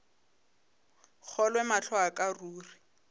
kgolwe mahlo a ka ruri